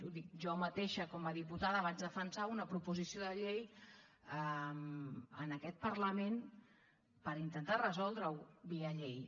ho dic jo mateixa com a diputada vaig defensar una proposició de llei en aquest parlament per intentar resoldre ho via llei